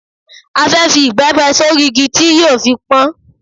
A fẹ́ fi ìbẹ́pẹ sórí igi tí yóò fi pọ́n.